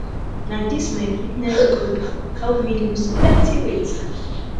na dis my fitness group help me loose plenty weight